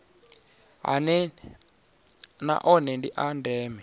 na one ndi a ndeme